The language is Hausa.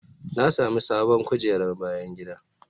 Na sami sabon kujerar bayan gida.